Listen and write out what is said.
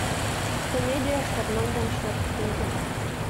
комедия с арнольдом шварценеггером